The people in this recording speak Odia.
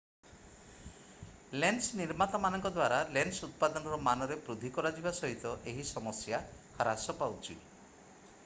ଲେନ୍ସ ନିର୍ମାତାମାନଙ୍କ ଦ୍ୱାରା ଲେନ୍ସ ଉତ୍ପାଦନର ମାନରେ ବୃଦ୍ଧି କରାଯିବା ସହିତ ଏହି ସମସ୍ୟା ହ୍ରାସ ପାଉଛି